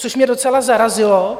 Což mě docela zarazilo...